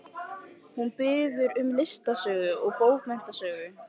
Hún biður um listasögu og bókmenntasögu.